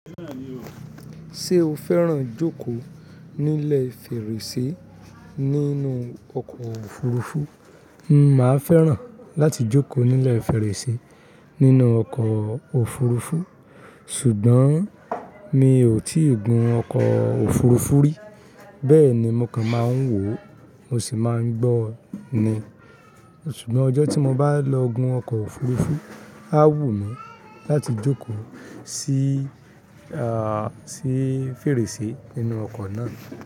Ṣé o fẹ́ràn jókòó nílẹ̀ fèrèsé nínú ọkọ̀ òfurufú? N máa fẹ́ràn láti jókòó nílẹ̀ fèrèsé nínú ọkọ̀ òfurufú, ṣùgbọ́n mi ò tíì gun ọkọ̀ òfurufú rí. Bẹ́ẹ̀ ni mo kàn máa ń wò ó, mo sì máa ń gbọ́ ọ ni. Ṣùgbọ́n ọjọ́ tí mo bá lọ gun ọkọ̀ òfurufú, á wù mí láti jókòó sí, sí fèrèsé ninú ọkọ̀ náà.